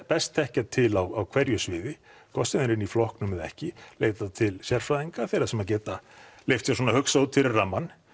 best þekkja til á hverju sviði hvort sem það er inni í flokknum eða ekki leita til sérfræðinga þeirra sem að geta leyft sér svona að hugsa út fyrir rammann